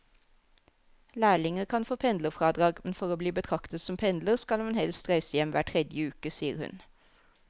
Lærlinger kan få pendlerfradrag, men for å bli betraktet som pendler skal man helst reise hjem hver tredje uke, sier hun.